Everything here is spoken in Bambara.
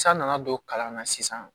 San nana don kalan na sisan